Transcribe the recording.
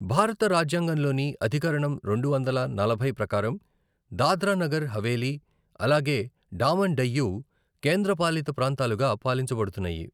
భారత రాజ్యాంగంలోని అధికరణం రెండు వందల నలభై ప్రకారం దాద్రా నగర్ హవేలీ, అలాగే డామన్ డయ్యు కేంద్రపాలిత ప్రాంతాలుగా పాలించబడున్నాయి.